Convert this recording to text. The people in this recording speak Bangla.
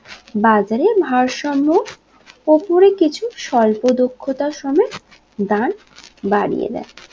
বাজারে ভারসাম্য ওপরে কিছু স্বল্প দক্ষতা সমেত দান বাড়িয়ে দেয়